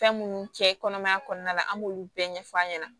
Fɛn minnu cɛ kɔnɔmaya kɔnɔna la an b'olu bɛɛ ɲɛf'a ɲɛna